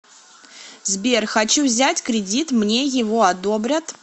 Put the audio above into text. сбер хочу взять кредит мне его одобрят